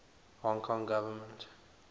hong kong government